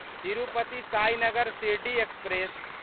Tirupati Sainagar Shirdi express